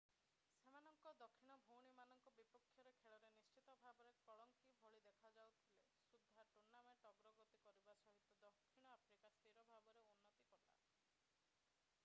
ସେମାନଙ୍କ ଦକ୍ଷିଣ ଭଉଣୀମାନଙ୍କ ବିପକ୍ଷରେ ଖେଳରେ ନିଶ୍ଚିତ ଭାବରେ କଳଙ୍କି ଭଳି ଦେଖାଯାଉଥିଲେ ସୁଦ୍ଧା ଟୁର୍ନାମେଣ୍ଟ ଅଗ୍ରଗତି କରିବା ସହିତ ଦକ୍ଷିଣ ଆଫ୍ରିକା ସ୍ଥିର ଭାବରେ ଉନ୍ନତି କଲା